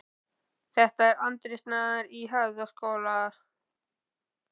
Hausar á utangarðsfólki líða hjá eins og í brúðuleikhúsi: Pósturinn